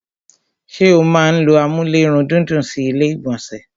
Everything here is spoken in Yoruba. ṣé o máa n ló amúlérùndídùn sí ilé ìgbọ̀nsẹ̀?